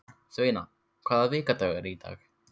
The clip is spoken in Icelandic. Sveina, hvaða vikudagur er í dag?